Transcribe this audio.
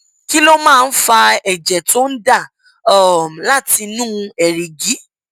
kí ló máa ń fa ẹjẹ tó ń ń dà um láti inú èrìgì